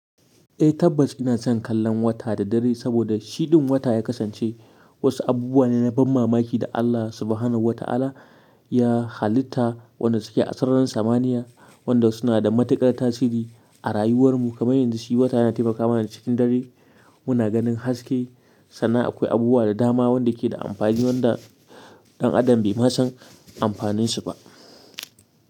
Eh tabbas ina son kallon wata da dare saboda shi ɗin wata ya kasance wasu abubuwa ne na ban mamaki da Allah Subhanahu wa Ta'ala ya halitta waɗanda suke a sararin samaniya, waɗanda suna da matuƙar tasiri a rayuwar mu. Kamar yanzu shi wata yana taimaka mana cikin dare muna ganin haske sannan akwai abubuwa da dama waɗanda suke da amfani waɗanda ɗan adam bai ma san amfaninsu ba.